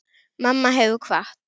Mamma hefur kvatt.